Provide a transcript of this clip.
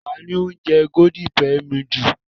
Ta ni ó máa ń jẹ́ Golden penny noodles?